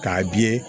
K'a bi ye